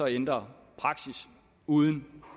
ændre praksis uden